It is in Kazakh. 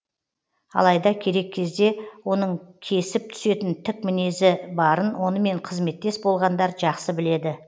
алайда керек кезде оның кесіп түсетін тік мінезі барын онымен қызметтес болғандар жақсы біледі